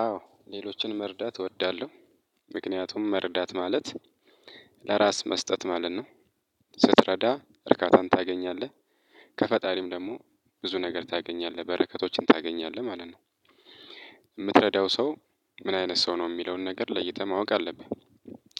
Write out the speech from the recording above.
አዎ ሌሎችን መርዳት እወዳለሁ። ምክንያቱም መርዳት ማለት ለራስ መስጠት ማለት ነው። ስትረዳ እርካታን ታገኛለህ። ከፈጣሪም ደግሞ ብዙ ነገር ታገኛለህ በረከቶችን ታገኛለህ ማለት ነው። የምትረዳው ሰው ምን አይነት ሰው ነው የሚለውን ነገር ለይተህ ማወቅ አለብህ።